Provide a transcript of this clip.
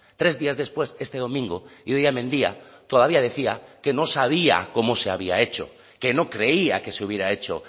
tres días después este domingo idoia mendia todavía decía que no sabía cómo se había hecho que no creía que se hubiera hecho